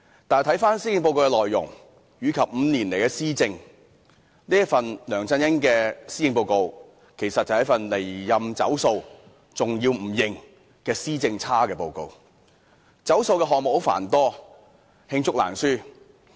但是，回看施政報告的內容及梁振英5年來的施政，其施政報告其實是一份"離任走數"及拒認"施政差"的報告，而"走數"的項目繁多，罄竹難書。